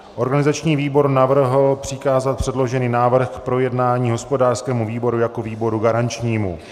Organizační výbor navrhl přikázat předložený návrh k projednání hospodářskému výboru jako výboru garančnímu.